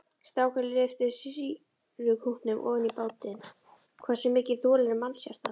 Strákurinn lyftir sýrukútnum ofan í bátinn, hversu mikið þolir mannshjartað?